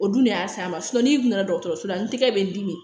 O dun y'a s'a ma n'i donna dɔgɔtɔrɔso la n tɛgɛ bɛ n dimi